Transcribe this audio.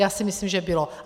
Já si myslím, že bylo.